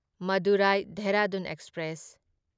Madurai Dehradun express